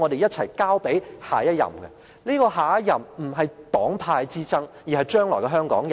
這些繼任人，應該是跨越黨派之爭的香港人。